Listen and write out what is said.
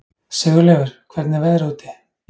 Sigurleifur, hvernig er veðrið úti?